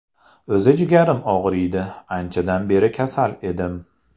O‘zi jigarim og‘riydi, anchadan beri kasal edim.